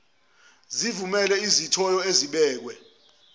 sivumele izithiyo ezibekwe